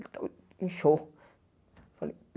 Ele tava inchou. Eu falei